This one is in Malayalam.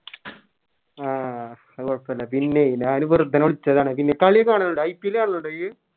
ആഹ് അത് കൊഴപ്പില്ല പിന്നേയ് ഞാന് ബെർതെന്നേ വിളിച്ചതാണ് പിന്നെ കളിയൊക്കെ കാണലിണ്ടോ IPL കാണലിണ്ടോ ഇയ്യ്‌